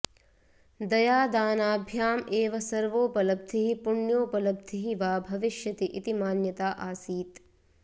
दयादानाभ्याम् एव सर्वोपलब्धिः पुण्योपलब्धिः वा भविष्यति इति मान्यता आसीत्